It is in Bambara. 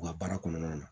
U ka baara kɔnɔna na